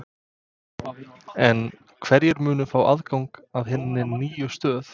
En hverjir munu fá aðgang að hinni nýju stöð?